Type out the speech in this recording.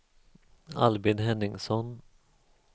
Albin Henningsson